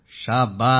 शाब्बास